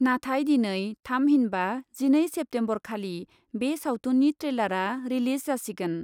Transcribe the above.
नाथाय दिनै थामहिनबा जिनै सेप्तेम्बरखालि बे सावथुननि ट्रेलारआ रिलीज जासिगोन।